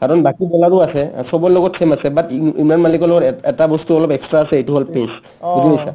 কাৰণ বাকী bowler ও আছে চবৰ লগত same আছে but ইম ইমৰান মাল্লিকৰ লগত এ এটা বস্তু অলপ extra আছে এটো হ'ল peace বুজি পাইছা